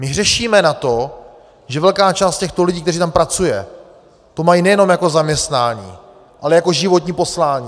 My hřešíme na to, že velká část těchto lidí, kteří tam pracují, to mají nejenom jako zaměstnání, ale jako životní poslání.